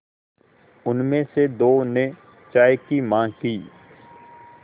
उनमें से दो ने चाय की माँग की